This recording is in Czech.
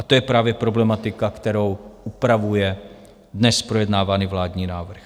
A to je právě problematika, kterou upravuje dnes projednávaný vládní návrh.